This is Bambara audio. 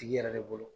Tigi yɛrɛ de bolo